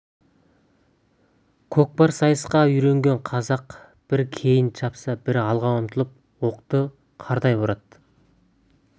көкпар сайысқа үйренген қазақ бірі кейін шапса бірі алға ұмтылып оқты қардай боратты